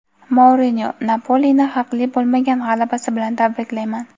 Mourinyo: "Napoli"ni haqli bo‘lmagan g‘alabasi bilan tabriklayman.